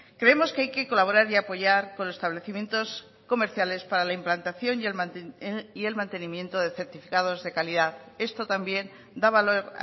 creemos que hay que colaborar y apoyar con los establecimientos comerciales para la implantación y el mantenimiento de certificados de calidad esto también da valor